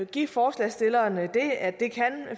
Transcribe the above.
give forslagsstillerne det at det